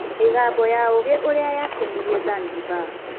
Mĩgambo ya Ũgĩ ũrĩa yakenirie Zanzibar.